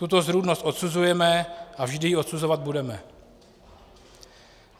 Tuto zrůdnost odsuzujeme a vždy ji odsuzovat budeme.